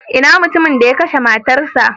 Ina mutumin da ya kashe matarsa?